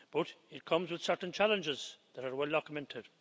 But it comes with certain challenges that are well documented.